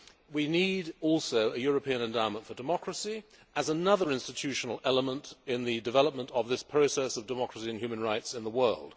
We need also a European endowment for democracy as another institutional element in the development of this process of democracy and human rights in the world.